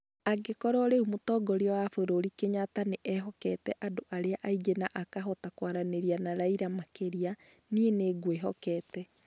"Angĩkorwo rĩu mũtongoria wa bũrũrĩ Kenyatta nĩ ehokete andũ arĩa angĩ na akahota kwaranĩria na Raila makĩria, niĩ nĩ ngwĩhokete.